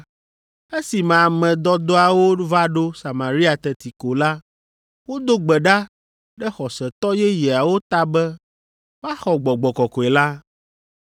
Esime ame dɔdɔawo va ɖo Samaria teti ko la, wodo gbe ɖa ɖe xɔsetɔ yeyeawo ta be woaxɔ Gbɔgbɔ Kɔkɔe la,